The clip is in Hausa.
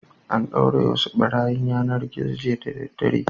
An ɗaure wasu ɓarayin yanar-gizo jiya da daddare.